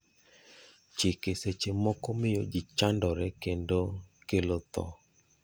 Chike seche moko miyo ji chandore kendo kelo tho.